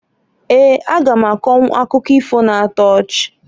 Eeǃ A ga m akọnwụ akụkọ ifo na-ato ochi.